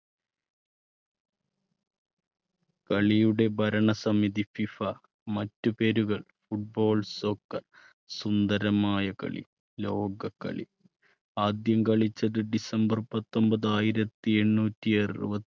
കളിയുടെ ഭരണസമിതി ഫിഫ മറ്റ് പേരുകൾ football soccer. സുന്ദരമായ കളി ലോക കളി ആദ്യം കളിച്ചത് december പത്തൊൻപത് ആയിരത്തി എണ്ണൂറ്റി അറുപ~